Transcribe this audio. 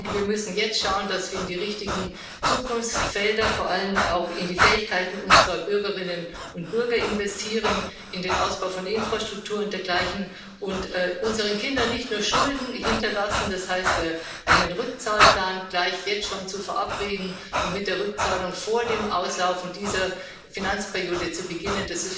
Wir müssen jetzt schauen, dass wir in die richtigen Zukunftsfelder, vor allem auch in die Fähigkeiten unserer Bürgerinnen und Bürger, in den Ausbau von Infrastruktur und dergleichen investieren und unseren Kindern nicht nur Schulden hinterlassen das heißt, einen Rückzahlplan gleich jetzt schon zu verabreden und mit der Rückzahlung vor dem Auslaufen dieser Finanzperiode zu beginnen.